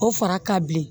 O fara ka bilen